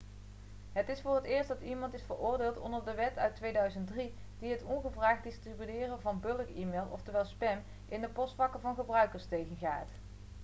het is voor het eerst dat iemand is veroordeeld onder de wet uit 2003 die het ongevraagd distribueren van bulk-e-mail oftewel spam in de postvakken van gebruikers tegengaat